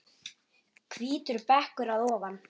Hvítur bekkur að ofan.